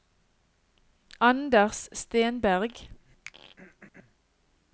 Anders Stenberg